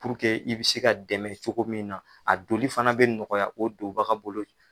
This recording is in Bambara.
i bɛ se ka dɛmɛ cogo min na a doli fana bɛ nɔgɔya o donbaga bolo.